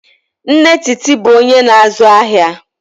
Nne Titi bụ onye na-azụ ahịa.